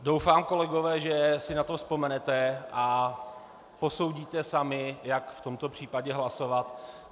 Doufám, kolegové, že si na to vzpomenete a posoudíte sami, jak v tomto případě hlasovat.